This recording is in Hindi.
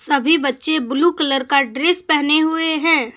अभी बच्चे ब्लू कलर का ड्रेस पहने हुए हैं।